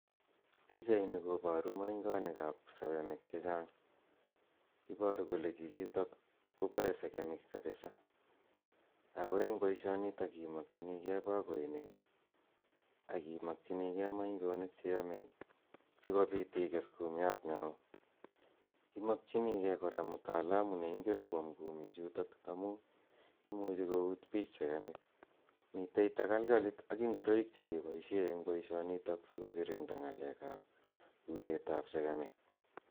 Pichaini koboru moingonikab segemik chechang, iboru kole chichito koboe segemik kabisa ako eng boisionito imokchinikei bakoinik ii ak imokchinikei moingonik che yome sikobit ikes kumiat ne oo, imokchinikei kora mtaalamu neingen kwom kumichuto amu, imuchi kout piich segemik, mitei takalkalit ak ingoroik che keboisie eng boisionito si kokirinda ngalekab utetab segemik.